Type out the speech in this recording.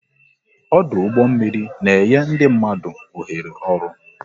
Ọdụ ụgbọ mmiri na enye ndị mmadụ oghere oru